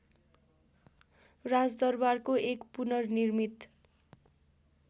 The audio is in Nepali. राजदरबारको एक पुनर्निर्मित